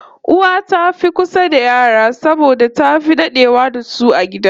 Uwa ta fi kusa da yara saboda tafi dadewa da su a gida